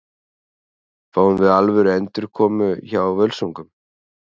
Fáum við alvöru endurkomu hjá Völsungum?